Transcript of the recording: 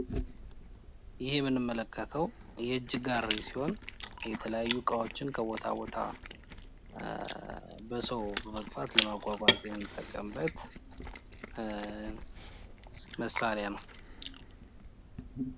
ይህ የምንመለከተው የእጅ ጋሬ ሲሆን እቃዎችን ከቦታ ቦታ ለመንቀሳቀስ የምንጠቀምበት በእጅ የሚገፋ መሳሪያ ነው ።